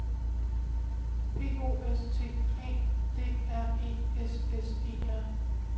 P O S T A D R E S S E R